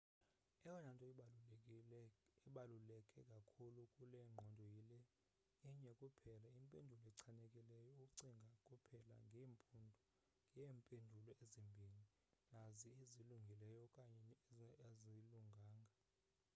eyona nto ibaluleke kakhulu kule ngqondo yile inye kuphela impendulo echanekileyo ucinga kuphela ngeempendulo ezimbini nazi ezilungile okanye azilunganga